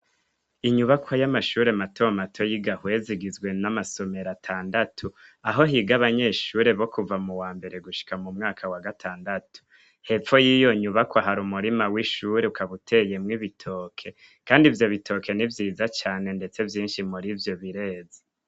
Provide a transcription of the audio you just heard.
Inyubakwa y'amashure matomato y'igahweza igizwe n'amasomero atandatu ,aho higa abanyeshure bo kuva mu wambere gushika mu mwaka wa gatandatu. Hepfo y'iyo yubakwa hari umurima w'ishure ukaba uteyemwo ibitoke Kandi ivyo bitoke ni vyiza cane ndetse vyinshi murivyo bireze.